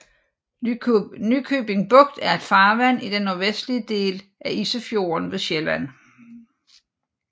Nykøbing Bugt er et farvand i den nordvestlige del af Isefjorden ved Sjælland